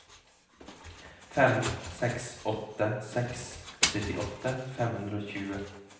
fem seks åtte seks syttiåtte fem hundre og tjue